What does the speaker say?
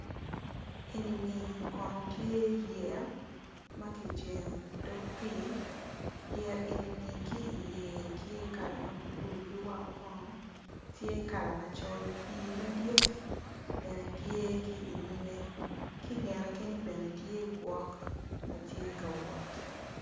Enini kono tye yeya maki jengo i dog pi yeya enini ki i nge tye kala mablue ki wongo kono tye kala macol pi madit bene tye ki i nyime kingete kenyo bene tye gwok matye ka wot.